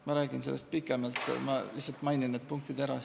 Ma räägin sellest pikemalt, algul lihtsalt mainin põhipunktid ära.